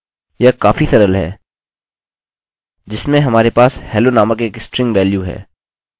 यह काफी सरल है जिसमें हमारे पास hello नामक एक स्ट्रिंग वेल्यू है